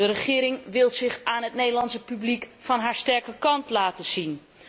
De regering wil zich aan het Nederlandse publiek van haar sterke kant laten zien.